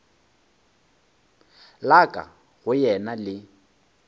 la ka go yena le